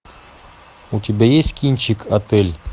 у тебя есть кинчик отель